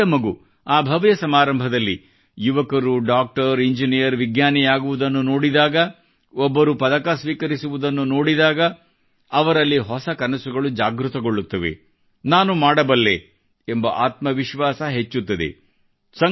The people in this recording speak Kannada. ಒಂದು ಪುಟ್ಟ ಮಗು ಆ ಭವ್ಯ ಸಮಾರಂಭದಲ್ಲಿ ಯುವಕರು ಡಾಕ್ಟರ್ ಇಂಜಿನೀಯರ್ ವಿಜ್ಞಾನಿಯಾಗುವುದನ್ನು ನೋಡಿದಾಗ ಒಬ್ಬರು ಪದಕ ಸ್ವೀಕರಿಸುವುದನ್ನು ನೋಡಿದಾಗ ಅವನಲ್ಲಿ ಹೊಸ ಕನಸುಗಳು ಜಾಗೃತಗೊಳ್ಳುತ್ತವೆ ನಾನು ಮಾಡಬಲ್ಲೆ ಎಂಬ ಆತ್ಮವಿಶ್ವಾಸ ಹೆಚ್ಚುತ್ತದೆ